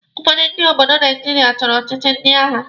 Ụfọdụ ndị obodo Naijiria chọrọ ọchịchị ndị agha.